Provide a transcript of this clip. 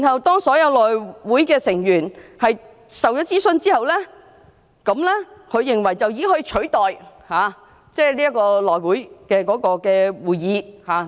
當所有內會成員都獲諮詢，他認為這已可取代召開內會會議的需要。